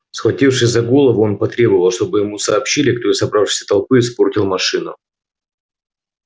схватившись за голову он потребовал чтобы ему сообщили кто из собравшейся толпы испортил машину